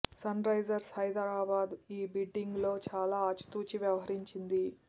sun Risers Hyderabad ఈ bidding లో చాలా ఆచితూచి వ్యవహరించింది